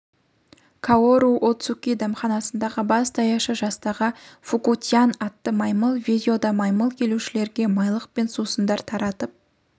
каору оцуки дәмханасындағы бас даяшы жастағы фуку-тян атты маймыл видеода маймыл келушілерге майлық пен сусындар таратып